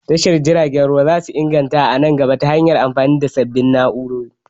Tashar jiragen ruwa zasu inganta a nan gaba ta hanyan amfani da sabbin na'urori